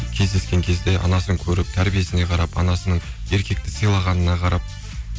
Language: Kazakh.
кездескен кезде анасын көріп тәрбиесіне қарап анасының еркекті сыйлағанына қарап